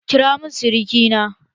Kira mun suruki na!